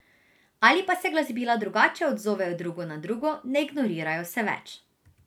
Ali pa se glasbila drugače odzovejo drugo na drugo, ne ignorirajo se več.